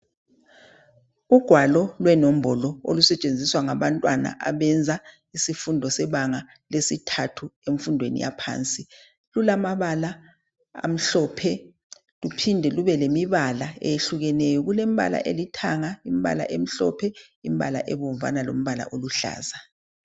Ugwalo lwenombolo olusetshenziswa ngabantwana abenza isifundo sebanga lesithathu emfundweni yaphansi. Lulamabala amhlophe luphinde lube lemibala eyehlukeneyo. Kulembala elithanga, imbala emhlophe, imbala ebomvana lombala oluhlaza